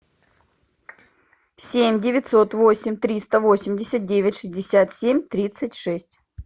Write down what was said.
семь девятьсот восемь триста восемьдесят девять шестьдесят семь тридцать шесть